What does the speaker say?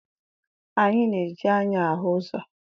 Anyị na-eji anya ahụ ụzọ.